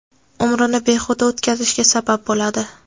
umrini behuda o‘tkazishga sabab bo‘ladi.